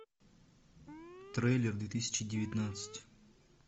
трейлер две тысячи девятнадцать